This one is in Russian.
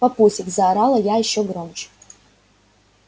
папусик заорала я ещё громче